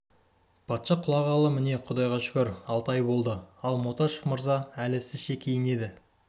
патша құлағалы міне құдайға шүкір алты ай болды ал мотяшев мырза әлі сізше киінеді